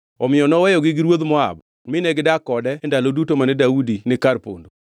Omiyo noweyogi gi ruodh Moab mine gidak kode e ndalo duto mane Daudi ni kar pondo.